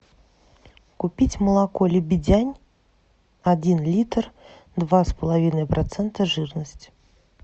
купить молоко лебедянь один литр два с половиной процента жирности